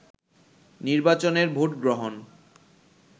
নির্বাচনের ভোটগ্রহণ